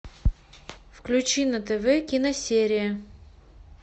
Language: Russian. включи на тв киносерия